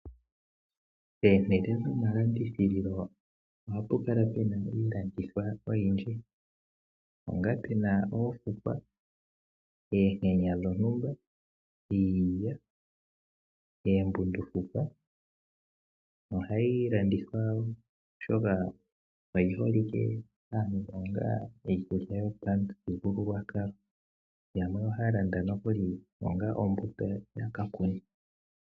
Pomahala goma landithilo ohapu kala puna iilandithwa oyindji onga puna oofukwa, oonkenya dhontumba, iilya, oombundukufwa niikwawo oyindji, ohayi landithwa, oshoka oyi holike kaandonga iikulya yopa muthigululwakalo. Yamwe ohaya landa nokuli onga ombuto yaka kune.